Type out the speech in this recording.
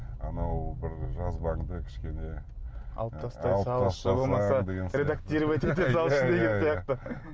анау бір жазбаңды кішкене алып тастай салыңызшы редактировать ете салшы деген сияқты